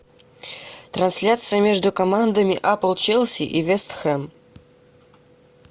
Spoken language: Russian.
трансляция между командами апл челси и вест хэм